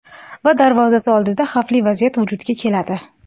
Va darvozasi oldida xavfli vaziyat vujudga keladi.